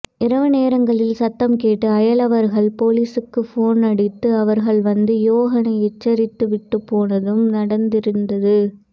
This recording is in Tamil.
இரவு நேரங்களில் சத்தம் கேட்டு அயலவர்கள் பொலீசுக்கு போனடித்து அவர்கள் வந்து யோகனை எச்சரித்து விட்டு போனதும் நடந்திருந்தது